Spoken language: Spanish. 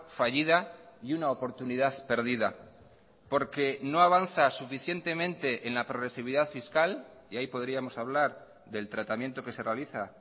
fallida y una oportunidad perdida porque no avanza suficientemente en la progresividad fiscal y ahí podríamos hablar del tratamiento que se realiza